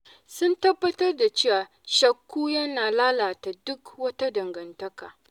Sun tabbatar da cewa shakku yana lalata duk wata dangantaka.